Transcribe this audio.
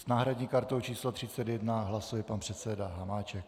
S náhradní kartou číslo 31 hlasuje pan předseda Hamáček.